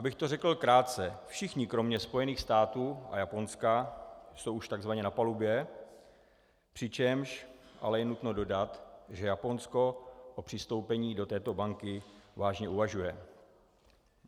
Abych to řekl krátce, všichni kromě Spojených států a Japonska jsou už takzvaně na palubě, přičemž je ale nutno dodat, že Japonsko o přistoupení do této banky vážně uvažuje.